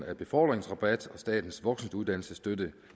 af befordringsrabat og statens voksenuddannelsesstøtte